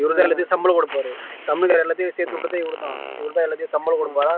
இவர்த சம்பளம் கொடுப்பார் தமிழ்காரர் எல்லாத்தையும் சேர்த்து விட்டது இவர்தான் இவர்தான் எல்லாத்தையும் சம்பளம் கொடுப்பாரா